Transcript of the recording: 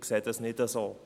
Das sehe ich nicht so.